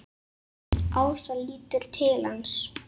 Ása lítur til hans.